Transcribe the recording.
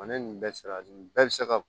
ni nin bɛɛ sera nin bɛɛ bi se ka